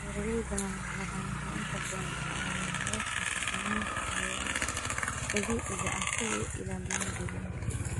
Beeralayda madaxbannaan waxay inta badan isticmaalaan hababka xakamaynta cayayaanka dabiiciga ah si ay u ilaaliyaan deegaanka.